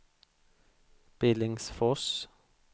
Billingsfors